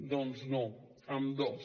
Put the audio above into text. doncs no amb dos